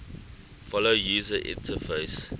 follow user interface